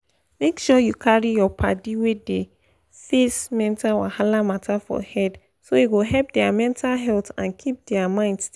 make um you carry your paddi wey dey face mental wahala matter for head so e go help their mental health and keep their mind stable.